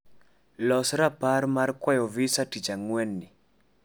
los rapar mar kwayo visa tich angwenni